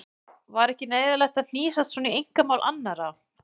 Var ekki neyðarlegt að hnýsast svona í einkamál annarra?